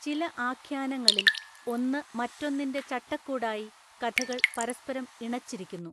ചില ആഖ്യാനങ്ങളില്‍, ഒന്നു മറ്റൊന്നിന്‍റെ ചട്ടക്കൂടായി കഥകൾ പരസ്പരം ഇണച്ചിരിക്കുന്നു.